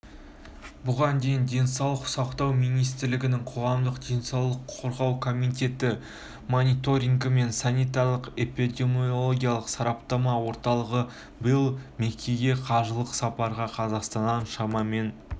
бұған дейін денсаулық сақтау министрлігінің қоғамдық денсаулықты қорғау комитеті мониторингі мен санитарлық-эпидемиологиялық сараптама орталығы биыл меккеге қажылық сапарға қазақстаннан шамамен